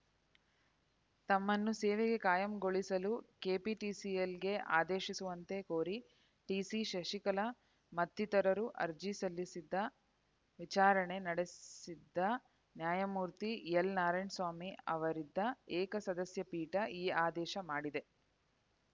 ತಮ್ಮನ್ನು ಸೇವೆಗೆ ಕಾಯಂಗೊಳಿಸಲು ಕೆಪಿಟಿಸಿಎಲ್‌ಗೆ ಆದೇಶಿಸುವಂತೆ ಕೋರಿ ಟಿಸಿಶಶಿಕಲಾ ಮತ್ತಿತರರು ಸಲ್ಲಿಸಿದ್ದ ಅರ್ಜಿ ವಿಚಾರಣೆ ನಡೆಸಿದ್ದ ನ್ಯಾಯಮೂರ್ತಿ ಎಲ್‌ನಾರಾಯಣಸ್ವಾಮಿ ಅವರಿದ್ದ ಏಕಸದಸ್ಯಪೀಠ ಈ ಆದೇಶ ಮಾಡಿದೆ